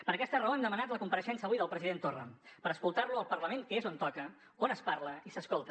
per aquesta raó hem demanat la compareixença avui del president torra per escoltar lo al parlament que és on toca on es parla i s’escolta